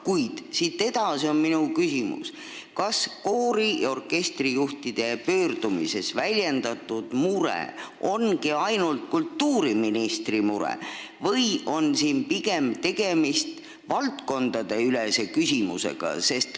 Kuid siit edasi on mul küsimus, kas koori- ja orkestrijuhtide pöördumises väljendatud mure ongi ainult kultuuriministri mure või on siin pigem tegemist valdkondadeülese küsimusega.